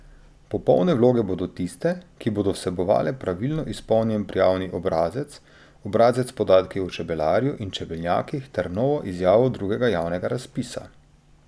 Popolne vloge bodo tiste, ki bodo vsebovale pravilno izpolnjen prijavni obrazec, obrazec s podatki o čebelarju in čebelnjakih ter novo izjavo drugega javnega razpisa.